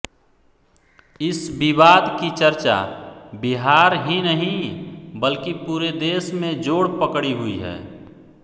इस विवाद की चर्चा बिहार ही नहीं वल्कि पुरे देश में जोड़ पकड़ी हुई हैं